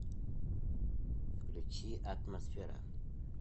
включи атмосфера